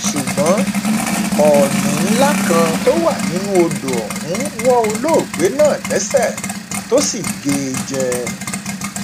ṣùgbọn òní ńlá kan tó wà nínú odò ọhún wọ olóògbé náà lẹsẹ tó sì gé e jẹ